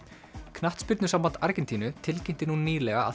knattspyrnusamband Argentínu tilkynnti nú nýlega að